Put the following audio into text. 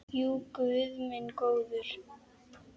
Jú, guð minn góður.